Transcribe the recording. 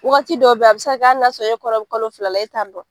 Wagati dɔw bɛ yen a bi se ka kɛ hali n'e kɔnɔ bɛ kalo fla la e t'a dɔn